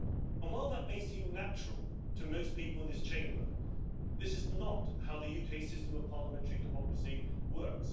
And while that may seem natural to most people in this Chamber, this is not how the UK system of parliamentary democracy works.